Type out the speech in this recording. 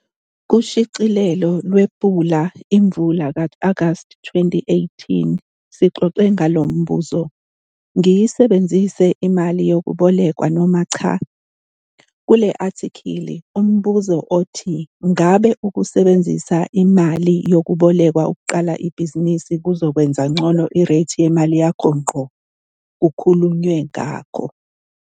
Kushicilelo lwePula Imvula ka-Agasti 2018 sixoxe ngalo mbuzo 'Ngiyisebenzise imali yokwebolekwa noma cha'. Kule athikhili umbuzo othi ngabe ukusebenzisa imale yokwebolekwa ukuqala ibhizinisi kuzokwenza ngcono ireythi yemali yakho ngqo, kukhulunyiwe ngakho.